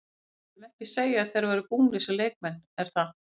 Við myndum ekki segja að þeir væru búnir sem leikmenn er það?